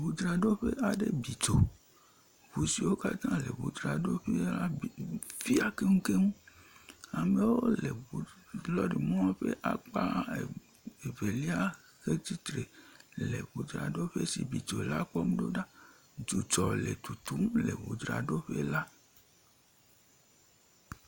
Ŋudzraɖoƒe aɖe bi dzo, ŋu siwo katã le ŋudzraɖoƒea la bi fiã keŋkeŋ. Amewo le ŋu lɔrimɔ ƒe akpa er e evelia hetsitre le ŋudzraɖoƒe si bi dzo la kpɔm ɖo ɖa. Dzudzɔ le tutum le ŋudzraɖoƒe la.